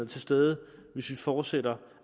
til stede hvis vi fortsætter